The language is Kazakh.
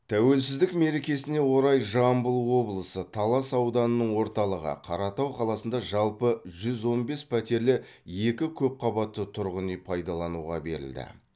тәуелсіздік мерекесіне орай жамбыл облысы талас ауданының орталығы қаратау қаласында жалпы жүз он бес пәтерлі екі көпқабатты тұрғын үй пайдалануға берілді